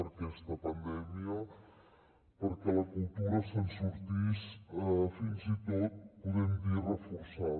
en aquesta pandèmia perquè la cultura se’n sortís fins i tot podem dir reforçada